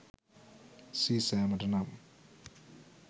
සීසෑමට නම්